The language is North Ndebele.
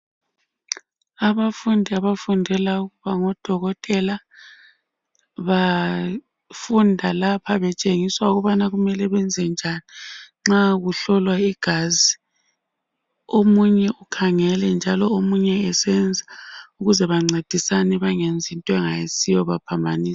Abafundi abafundela ukuba ngodokotela bafunda lapha betshengiswa ukubana kumele benze njani nxa kuhlolwa igazi omunye ukhangele njalo omunye esenza ukuze bancedisane bengenzi into engayisiyo bephambanise.